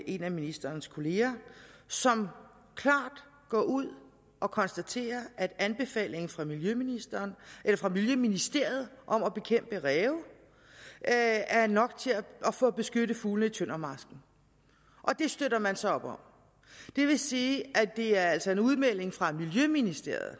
en af ministerens kolleger som klart går ud og konstaterer at anbefalingen fra miljøministeriet fra miljøministeriet om at bekæmpe ræve er er nok til at beskytte fuglene i tøndermarsken og det støtter man så op om det vil sige at det altså er en udmelding fra miljøministeriet